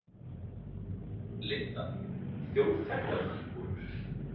Linda: Þjóðþekktar fígúrur?